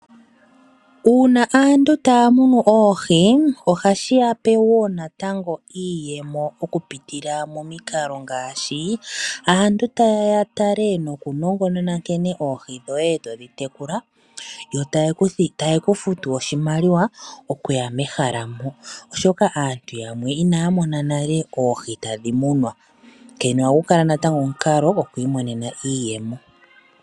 Uuna aantu taya munu oohi ohashi ya pe wo natango iiyemo mokupitila momikalo ngaashi aantu ta yeya ya tale nokunongonona nkene oohi dhoye todhi tekula, yo taye ku futu oshimaliwa okuya mo mehala moka, oshoka aantu yamwe inaya mona nale oohi tadhi munwa. Onkene ohagu kala omukalo goku imonena iiyemo.